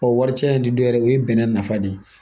wari caya nin dɔ yɛrɛ ye o ye bɛnɛ nafa de ye